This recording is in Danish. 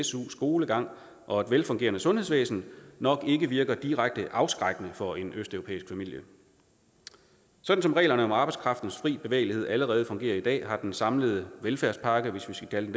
su skolegang og et velfungerende sundhedsvæsen nok ikke virker direkte afskrækkende på en østeuropæisk familie sådan som reglerne om arbejdskraftens fri bevægelighed allerede fungerer i dag har den samlede velfærdspakke hvis vi skal kalde